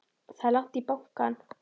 Það er langt í bankann!